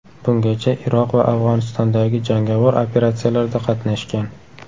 Bungacha Iroq va Afg‘onistondagi jangovar operatsiyalarda qatnashgan.